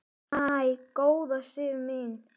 Æ, góða Sif mín!